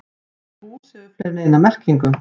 Orðið hús hefur fleiri en eina merkingu.